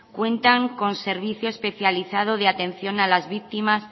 cuenta con servicio especializado de atención a las víctimas